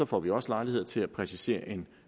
får vi også lejlighed til at præcisere en